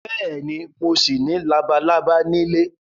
Bẹ́ẹ̀ni, mo ṣì ní labalábá nílé